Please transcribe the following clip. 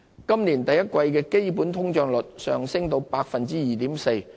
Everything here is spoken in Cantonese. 今年第一季的基本通脹率上升至 2.4%。